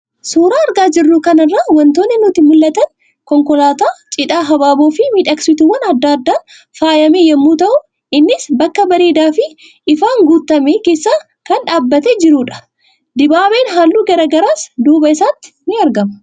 Suuraa argaa jirru kanarraa wantoonni nutti mul'atan, konkolaataa cidhaa habaaboo fi miidhagsituuwwan adda addaan faayame yommuu ta'u innis bakka bareedaa fi ifaan guutame keessa kan dhaabatee jirudha. Dibaabeen halluu garaagaraas duuba isaatti argamu.